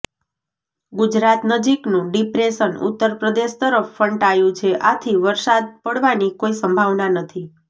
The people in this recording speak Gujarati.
ગુજરાત નજીકનું ડિપ્રેશન ઉત્તર પ્રદેશ તરફ ફંટાયું છે આથી વરસાદ પડવાની કોઈ સંભાવના નથી